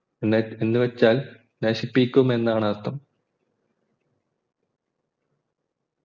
എന്നുവെച്ചാൽ നശിപ്പിക്കും എന്നാണർത്ഥം